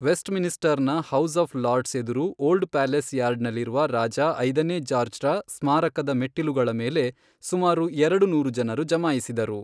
ವೆಸ್ಟ್ಮಿನ್ಸ್ಟರ್ನ House of Lords ಎದುರು, Old Palace ಯಾರ್ಡ್ನಲ್ಲಿರುವ ರಾಜ ಐದನೇ ಜಾರ್ಜ್ರ ಸ್ಮಾರಕದ ಮೆಟ್ಟಿಲುಗಳ ಮೇಲೆ ಸುಮಾರು ಎರಡು ನೂರು ಜನರು ಜಮಾಯಿಸಿದರು.